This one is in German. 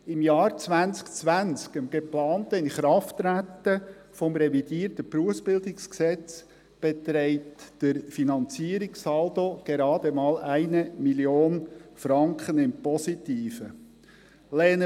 Im Jahr 2020, dem geplanten Inkrafttreten des revidierten BerG, wird der Finanzierungssaldo gerade mal 1 Mio. Franken im Positiven liegen.